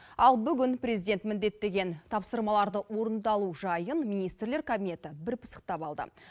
ал бүгін президент міндеттеген тапсырмаларды орындалу жайын министрлер кабинеті бір пысықтап алды